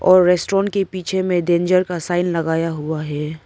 और रेस्टोरेंट के पीछे में डेंजर का साइन लगाया हुआ है।